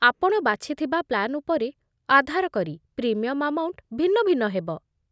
ଆପଣ ବାଛିଥିବା ପ୍ଲାନ୍ ଉପରେ ଆଧାର କରି ପ୍ରିମିୟମ୍ ଆମାଉଣ୍ଟ ଭିନ୍ନ ଭିନ୍ନ ହେବ।